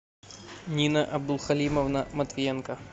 нина абдулхалимовна матвиенко